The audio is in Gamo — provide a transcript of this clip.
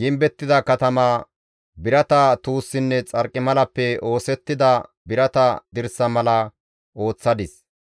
gimbettida katama, birata tuussinne xarqimalappe oosettida birata dirsa mala ooththadis.